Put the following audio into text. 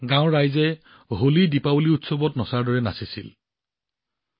গাঁৱৰ ৰাইজে হোলীদীপাৱলী উৎসৱৰ দৰে নাচিবাগি আনন্দ কৰিছিল